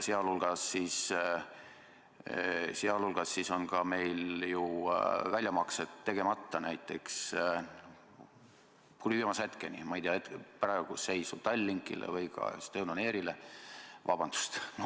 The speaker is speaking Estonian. Sealhulgas on ka meil ju väljamaksed tegemata Tallinkile või Estonian Airile, vabandust!